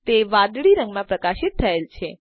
તે વાદળી રંગમાં પ્રકાશિત થયેલ છે